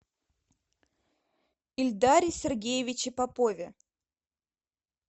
ильдаре сергеевиче попове